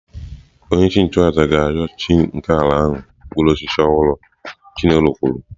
Onyeisi nchụàjà ga-arịọ chi nke ala ahụ mkpụrụ osisi ọhụrụ"" chinelo kwuru"